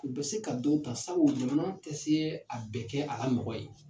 U bɛ se ka dɔ ta sabu jamana tɛ se a bɛɛ kɛ a ka mɔgɔ ye.